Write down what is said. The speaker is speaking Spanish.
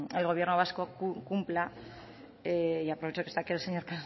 el gobierno vasco cumpla y aprovecho que está aquí el señor